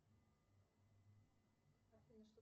афина что